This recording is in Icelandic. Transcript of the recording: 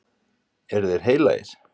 Eru þeir heilagir?